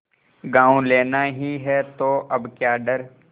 गॉँव लेना ही है तो अब क्या डर